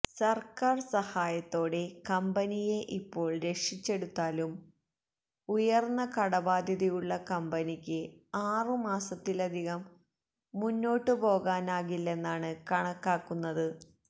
സർക്കാർ സഹായത്തോടെ കമ്പനിയെ ഇപ്പോൾ രക്ഷിച്ചെടുത്താലും ഉയർന്ന കടബാധ്യതയുള്ള കമ്പനിക്ക് ആറു മാസത്തിലധികം മുന്നോട്ടു പോകാനാകില്ലെന്നാണ് കണക്കാക്കുന്നത്